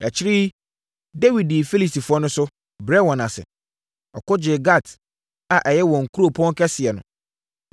Akyire yi, Dawid dii Filistifoɔ no so, brɛɛ wɔn ase. Ɔko gyee Gat a ɛyɛ wɔn kuropɔn kɛseɛ no.